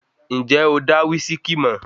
Ǹjẹ́ o dá wísíkí mọ̀?